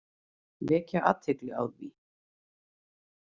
Vekja athygli á því.